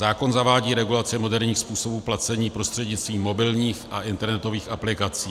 Zákon zavádí regulace moderních způsobů placení prostřednictvím mobilních a internetových aplikací.